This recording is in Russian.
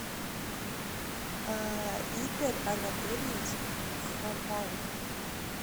игорь анатольевич хавалык